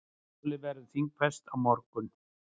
Málið verður þingfest á morgun.